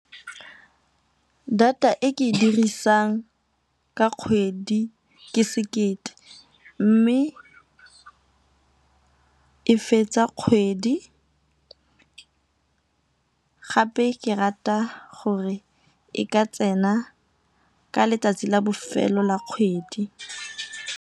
Data e ke e dirisang ka kgwedi ke sekete, mme e fetsa kgwedi gape ke rata gore e ka tsena ka letsatsi la bofelo la kgwedi.